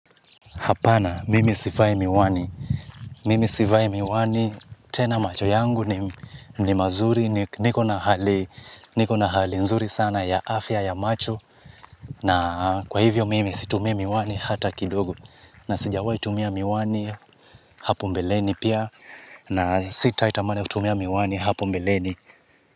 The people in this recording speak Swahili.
Hapana, mimi sifai miwani. Mimi sivai miwani, tena macho yangu ni mazuri, niko na hali nzuri sana ya afya ya macho. Na kwa hivyo mimi situmii miwani hata kidogo. Na sijawai tumia miwani hapo mbeleni pia, na sitaitamani kutumia miwani hapo mbeleni.